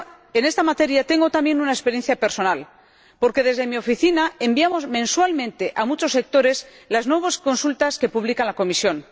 En esta materia tengo también una experiencia personal, porque desde mi oficina enviamos mensualmente a muchos sectores las nuevas consultas que publica la Comisión.